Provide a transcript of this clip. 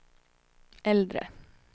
äldre